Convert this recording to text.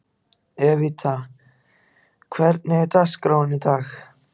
Evíta, hvernig er dagskráin í dag?